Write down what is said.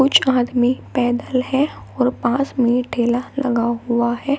कुछ आदमी पैदल है और पास में ठेला लगा हुआ है।